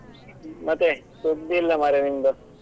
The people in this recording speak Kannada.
ಮತ್ತೆ ಸುದ್ದಿ ಇಲ್ಲ ಮಾರ್ರೆ ನಿಂದು.